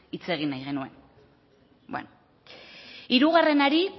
hitz egin nahi genuen bueno hirugarrenari